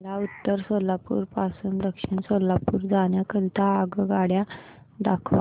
मला उत्तर सोलापूर पासून दक्षिण सोलापूर जाण्या करीता आगगाड्या दाखवा